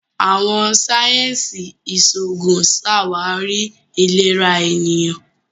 Àwọn sáyẹnsì iṣoogun ṣawari ilera eniyan.